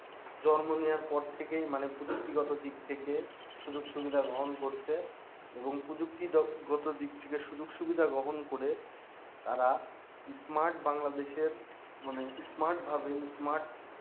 জন্ম নেয়ার পর থেকেই মানে প্রযুক্তি গত দিক থেকে সুযোগ সুবিধা গ্রহণ করছে এবং প্রযুক্তি গত থেকে সুযোগ সুবিধা গ্রহন করে তারা smart বাংলাদেশের মানে smart ভাবে smart